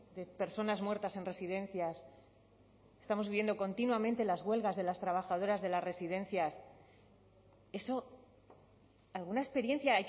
de personas muertas en residencias estamos viendo continuamente las huelgas de las trabajadoras de las residencias eso alguna experiencia